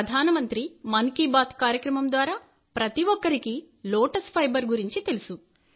ప్రధాన మంత్రి మన్ కీ బాత్ కార్యక్రమం ద్వారా ప్రతి ఒక్కరికి లోటస్ ఫైబర్ గురించి తెలుసు